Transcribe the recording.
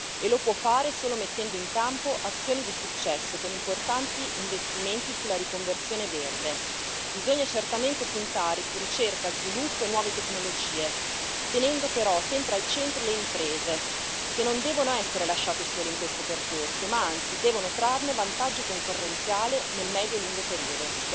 E lo può fare solo mettendo in campo azioni di successo, con importanti investimenti sulla riconversione verde. Bisogna certamente puntare su ricerca, sviluppo e nuove tecnologie, tenendo però sempre al centro le imprese, che non devono essere lasciate sole in questo percorso, ma anzi devono trarne vantaggio concorrenziale nel medio e lungo periodo.